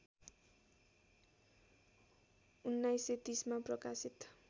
१९३० मा प्रकाशित